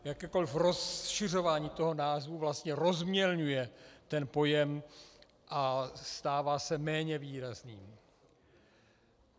Jakékoliv rozšiřování toho názvu vlastně rozmělňuje ten pojem a stává se méně výrazným.